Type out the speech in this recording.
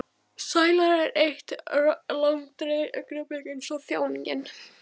Sælan er eitt langdregið augnablik eins og þjáningin.